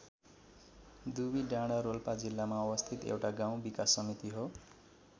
दुबिडाँडा रोल्पा जिल्लामा अवस्थित एउटा गाउँ विकास समिति हो।